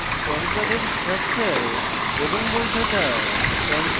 pan card structure এবং বৈধতা